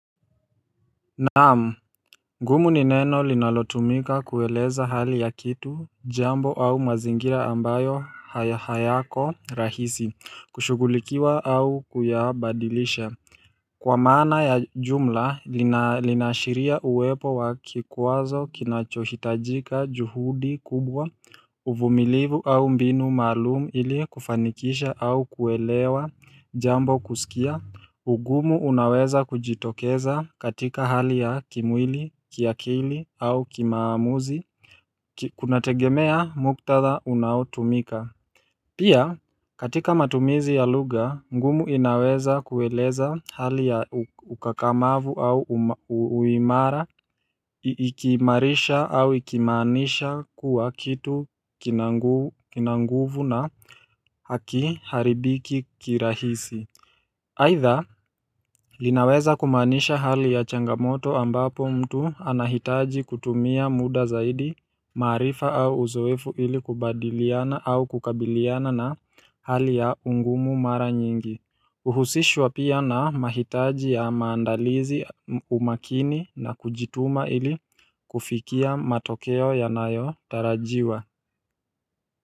Naam ngumu ni neno linalotumika kueleza hali ya kitu jambo au mazingira ambayo haya hayako rahisi kushughulikiwa au kuyabadilisha Kwa maana ya jumla lina linaashiria uwepo wa kikwazo kinachohitajika juhudi kubwa uvumilivu au mbinu maalumu ili kufanikisha au kuelewa jambo kuskia ugumu unaweza kujitokeza katika hali ya kimwili, kiakili au kimaamuzi Kuna tegemea muktadha unaotumika Pia, katika matumizi ya luga, ngumu inaweza kueleza hali ya ukakamavu au uimara Ikiimarisha au ikimaanisha kuwa kitu kinanguv kinanguvu na hakiharibiki kirahisi Aidha linaweza kumaanisha hali ya changamoto ambapo mtu anahitaji kutumia muda zaidi maarifa au uzoefu ili kubadiliana au kukabiliana na hali ya ungumu mara nyingi Uhusishwa pia na mahitaji ya maandalizi umakini na kujituma ili kufikia matokeo yanayo tarajiwa.